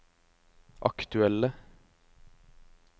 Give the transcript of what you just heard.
aktuelle